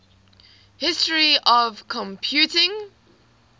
history of computing